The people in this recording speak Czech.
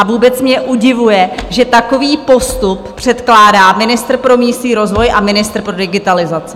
A vůbec mě udivuje, že takový postup předkládá ministr pro místní rozvoj a ministr pro digitalizaci.